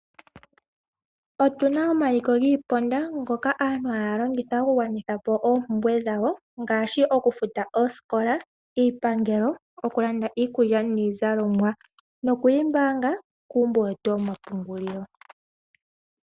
Otuna omaliko giiponda ngoka aantu haalongitha oku gwanithapo oompumbwe dhawo ngaashi okufuta oosikola, iipangelo okulanda iikulya niizalomwa. Nokuyi mbaanga kuumbo wetu woma pungulilo.